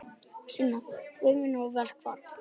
Sunna: Stefnir í verkfall?